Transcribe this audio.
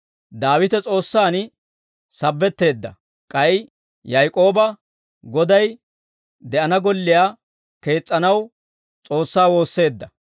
Daawite S'oossaan sabetteedda; k'ay Yaak'ooba, Goday de'ana golliyaa kees's'anaw S'oossaa woosseedda.